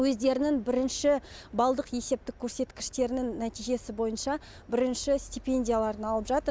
өздерінің бірінші балдық есептік көрсеткіштерінің нәтижесі бойынша бірінші стипендияларын алып жатыр